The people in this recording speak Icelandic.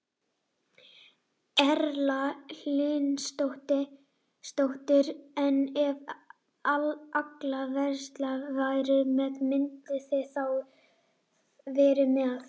Erla Hlynsdóttir: En ef að allar verslanir væru með, mynduð þið þá vera með?